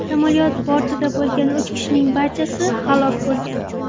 Samolyot bortida bo‘lgan uch kishining barchasi halok bo‘lgan.